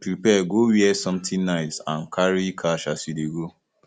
prepare go where something nice and carry cash as you de go